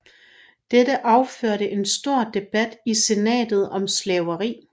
Dette affødte en stor debat i senatet om slaveri